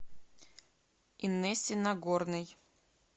инессе нагорной